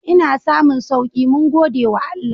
Ina samun sauki mun gode wa Allah.